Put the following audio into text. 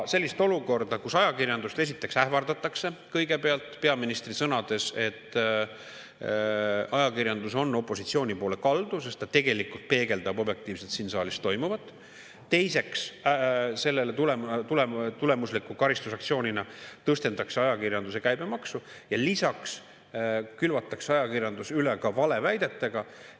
Sellist olukorda, kus ajakirjandust esiteks ähvardatakse – peaministri sõnul on ajakirjandus opositsiooni poole kaldu, sest ta tegelikult peegeldab objektiivselt siin saalis toimuvat –; teiseks, sellest tuleneva karistusaktsioonina tõstetakse ajakirjanduse käibemaksu; ja lisaks külvatakse ajakirjandus üle ka valeväidetega.